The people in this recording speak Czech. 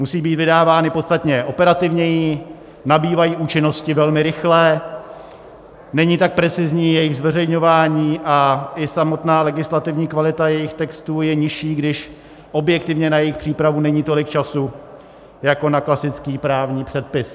Musí být vydávány podstatně operativněji, nabývají účinnosti velmi rychle, není tak precizní jejich zveřejňování a i samotná legislativní kvalita jejich textů je nižší, když objektivně na jejich přípravu není tolik času jako na klasický právní předpis.